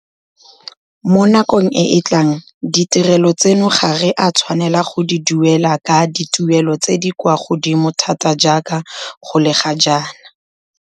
Mo nakong e e tlang ditirelo tseno ga re a tshwanela go di duelela ka dituelelo tse di kwa godimo thata jaaka go le ga jaana.